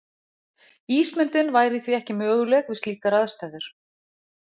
Ísmyndun væri því ekki möguleg við slíkar aðstæður.